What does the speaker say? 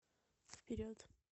вперед